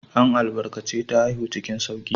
An albarkace ta haihu cikin sauƙi.